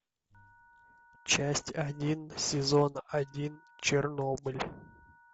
часть один сезон один чернобыль